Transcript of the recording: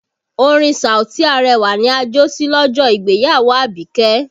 Orin Saoti Arẹwà ni a jó sí lọ́jọ́ ìgbéyàwó Abike